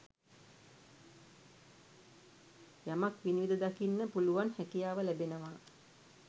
යමක් විනිවිද දකින්න පුළුවන් හැකියාව ලැබෙනවා.